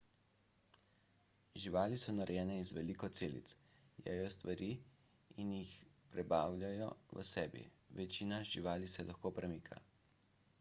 živali so narejene iz veliko celic jejo stvari in jih prebavljajo v sebi večina živali se lahko premika